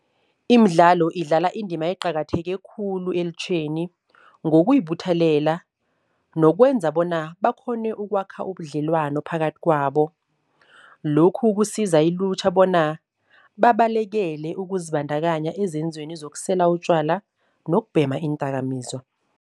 Imidlalo idlala indima eqakatheke khulu elutjheni ngokuyibuthelela nokwenza bona bakghone ukwakha ubudlelwano phakathi kwabo. Lokhu kusiza ilutjha bona babalekele ukuzibandakanya ezenzweni zokusela utjwala nokubhema iindakamizwa.